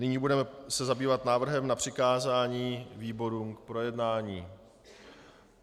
Nyní se budeme zabývat návrhem na přikázání výborům k projednání.